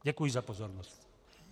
Děkuji za pozornost.